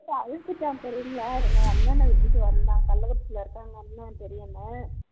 எங்க அண்ணன விட்டுட்டு வந்தான் கள்ளக்குறிச்சிலே இருக்காங்க அண்ணன் பெரிய அண்ணன்